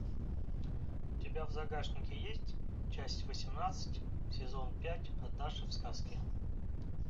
у тебя в загашнике есть часть восемнадцать сезон пять однажды в сказке